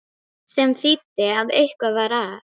Sem þýddi að eitthvað var að.